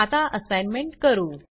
आता असाईनमेंट करू